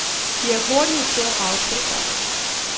De er hurtige til at rage til sig.